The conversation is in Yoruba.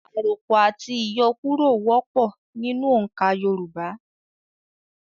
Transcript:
Àròpọ̀ àti ìyọkúrọ̀ wọ́pọ̀ nínú oǹkà Yorùbá.